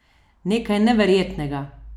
Nekaj neverjetnega!